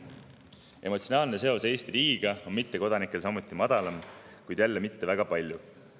Emotsionaalne seos Eesti riigiga on mittekodanikel samuti madalam, kuid jälle mitte väga palju.